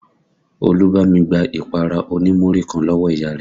Olú bámi gbá ìpara oní Múrí kan lọ́wọ́ ìyá rẹ̀